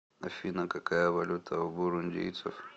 афина какая валюта у бурундийцев